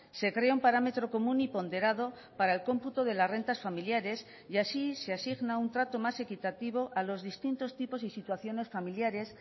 se crea un parámetro común y ponderado para el cómputo de las rentas familiares y así se asigna un trato más equitativo a los distintos tipos y situaciones familiares